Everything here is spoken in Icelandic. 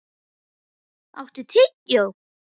Olaf, áttu tyggjó?